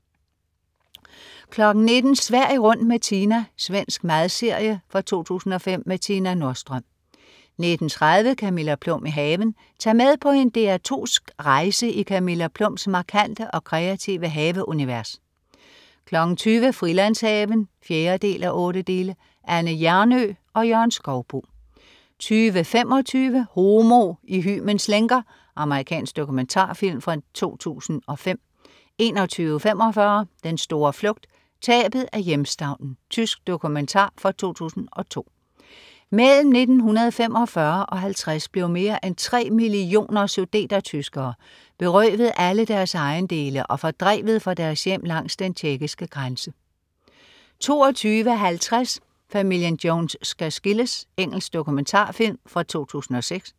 19.00 Sverige rundt med Tina. Svensk madserie fra 2005. Tina Nordström 19.30 Camilla Plum i haven. Tag med på en DR2sk rejse i Camilla Plums markante og kreative haveunivers 20.00 Frilandshaven 4:8. Anne Hjernøe og Jørgen Skouboe 20.25 Homo i hymens lænker. Amerikansk dokumentarfilm fra 2005 21.45 Den store flugt, tabet af hjemstavnen. Tysk dokumentar fra 2002. Mellem 1945 og 1950 blev mere end tre millioner sudetertyskere berøvet alle deres ejendele og fordrevet fra deres hjem langs den tjekkiske grænse 22.50 Familien Jones skal skilles. Engelsk dokumentarfilm fra 2006